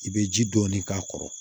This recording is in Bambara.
I bɛ ji dɔɔni k'a kɔrɔ